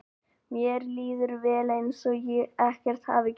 Mér líður vel, eins og ekkert hafi gerst.